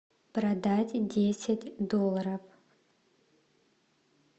продать десять долларов